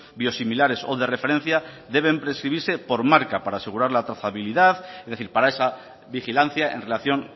biosimilares o de referencia deben prescribirse por marca para asegurar la trazabilidad es decir para esa vigilancia en relación